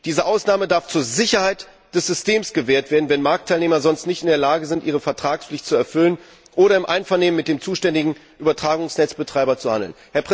Diese Ausnahme darf zur Sicherheit des Systems gewährt werden, wenn Marktteilnehmer sonst nicht in der Lage sind, ihre Vertragspflicht zu erfüllen oder im Einvernehmen mit dem zuständigen Übertragungsnetzbetreiber zu handeln.